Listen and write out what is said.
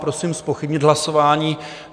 Prosím zpochybnit hlasování.